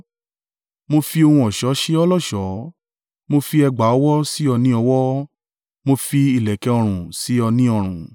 Mo fi ohun ọ̀ṣọ́ ṣe ọ́ lọ́ṣọ̀ọ́, mo fi ẹ̀gbà ọwọ́ sí ọ ní ọwọ́, mo fi ìlẹ̀kẹ̀ ọrùn sí ọ ní ọrùn,